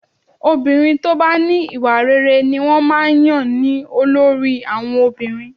Obìnrin tó bá ní ìwà rere ni wọ́n máa ń yàn ní olórí àwọn obìnrin